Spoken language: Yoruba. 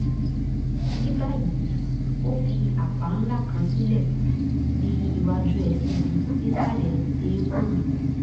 ní báyìí ó fi àpá ńlá kan sílẹ̀ ní iwájú ẹsẹ̀ mi nísàlẹ̀ eékún mi